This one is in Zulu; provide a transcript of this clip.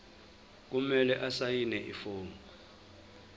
kumele asayine ifomu